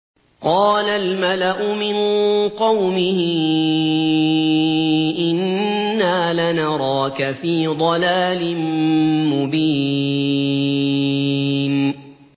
قَالَ الْمَلَأُ مِن قَوْمِهِ إِنَّا لَنَرَاكَ فِي ضَلَالٍ مُّبِينٍ